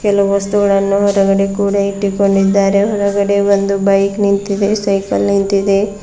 ಎಲ್ಲ ವಸ್ತುಗಳನ್ನ ಹೊರಗಡೆ ಕೂಡ ಇಟ್ಟುಕೊಂಡಿದ್ದಾರೆ ಹೊರಗಡೆ ಒಂದು ಬೈಕ್ ನಿಂತಿದೆ ಸೈಕಲ್ ನಿಂತಿದೆ.